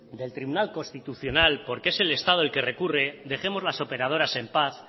del tribunal constitucional porque es el estado el que recurre dejemos a las operadoras en paz